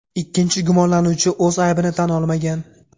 Ikkinchi gumonlanuvchi o‘z aybini tan olmagan.